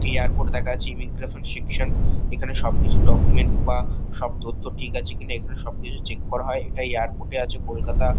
Airport দেখা যাচ্ছে immigration section এখানে সব কিছু ডকুমেন্টস বা সব তথ্য ঠিক আছে কিনা এখানে সব চেক করা হয় এটা এয়ারপোর্ট এ আছে কলকাতা।